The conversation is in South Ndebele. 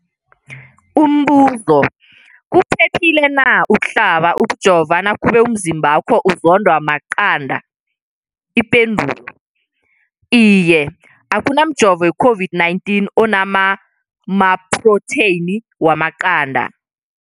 Umbuzo, kuphephile na ukuhlaba, ukujova nakube umzimbakho uzondwa maqanda. Ipendulo, Iye. Akuna mjovo we-COVID-19 ona maphrotheyini wamaqanda.